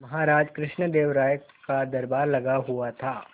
महाराज कृष्णदेव राय का दरबार लगा हुआ था